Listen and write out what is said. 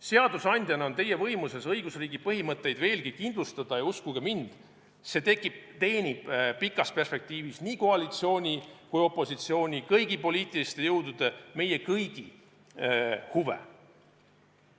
Seadusandjana on teie võimuses õigusriigi põhimõtteid veelgi kindlustada ja, uskuge mind, see teenib pikas perspektiivis nii koalitsiooni kui ka opositsiooni, kõigi poliitiliste jõudude, meie kõigi huve.